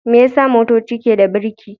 Me yasa motoci ke da birki?